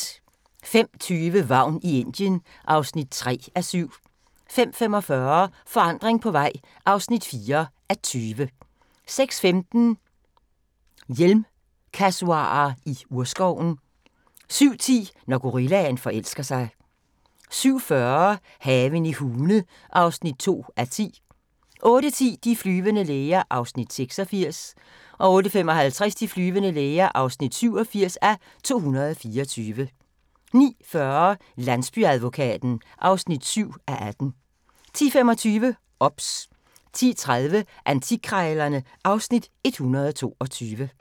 05:20: Vagn i Indien (3:7) 05:45: Forandring på vej (4:20) 06:15: Hjelmkasuarer i urskoven 07:10: Når gorillaen forelsker sig 07:40: Haven i Hune (2:10) 08:10: De flyvende læger (86:224) 08:55: De flyvende læger (87:224) 09:40: Landsbyadvokaten (7:18) 10:25: OBS 10:30: Antikkrejlerne (Afs. 122)